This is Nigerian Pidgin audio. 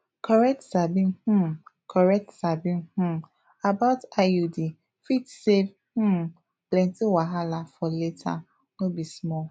correct sabi um correct sabi um about iud fit save um plenty wahala for later no be small